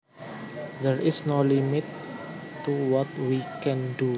There is no limit to what we can do